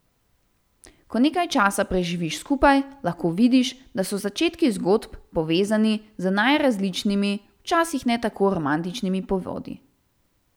Ko nekaj časa preživiš skupaj, lahko vidiš, da so začetki zgodb povezani z najrazličnimi, včasih ne tako romantičnimi povodi.